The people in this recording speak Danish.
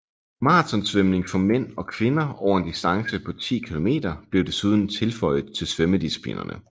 Marathonsvømning for mænd og kvinder over en distance på 10 km blev desuden tilføjet til svømmedisciplinerne